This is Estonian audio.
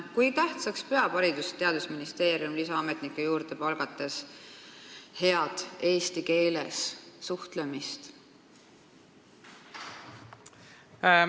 Kui tähtsaks peab Haridus- ja Teadusministeerium lisaametnikke palgates heas eesti keeles suhtlemise oskust?